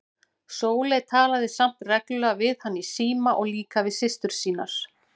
Sóley talaði samt reglulega við hann í síma og líka við systur sínar.